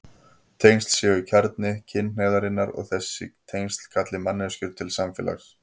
Tengsl séu kjarni kynhneigðarinnar og þessi tengsl kalli manneskjur til samfélags.